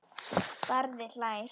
Barði hlær.